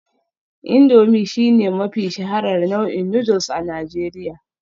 Indomie shine mafi shaharar nau'in noodles a Najeriya